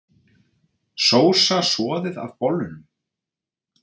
Sósa soðið af bollunum